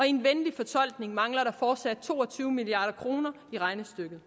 en venlig fortolkning mangler der fortsat to og tyve milliard kroner i regnestykket